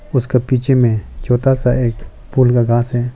उसका पीछे में छोटा सा एक है।